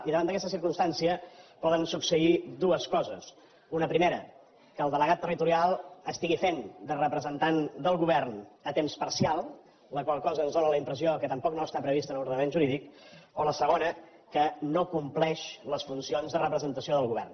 i davant d’aquesta circumstància poden succeir dues coses una primera que el delegat territorial estigui fent de representant del govern a temps parcial la qual cosa ens fa la impressió que tampoc no està prevista a l’ordenament jurídic o la segona que no compleixi les funcions de representació del govern